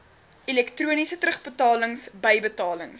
elektroniese terugbetalings bybetalings